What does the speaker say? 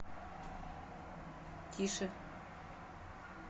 тише